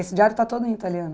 Esse diário está todo em italiano?